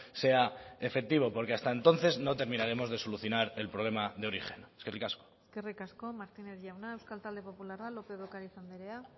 sea efectivo porque hasta entonces no terminaremos de solucionar el problema de origen eskerrik asko eskerrik asko martínez jauna euskal talde popularra lópez de ocariz andrea